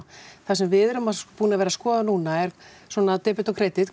það sem við erum búin að vera skoða núna er svona debit og kredit